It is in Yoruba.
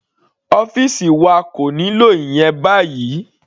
Ọ́fìsì wa kò nílò ìyẹn báyìí.